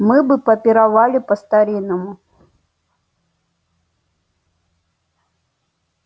мы бы попировали по-старинному